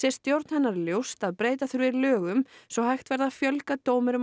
stjórn hennar ljóst að breyta þurfi lögum svo hægt verði að fjölga dómurum